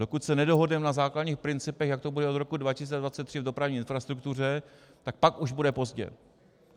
Dokud se nedohodneme na základních principech, jak to bude od roku 2023 v dopravní infrastruktuře, tak pak už bude pozdě.